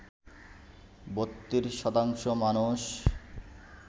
৩২ শতাংশ মানুষ